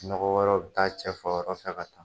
Nɔgɔ wɛrɛw bɛ taa cɛ fɔ yɔrɔ kɛnɛ kan.